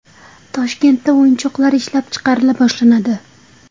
Toshkentda o‘yinchoqlar ishlab chiqarila boshlanadi.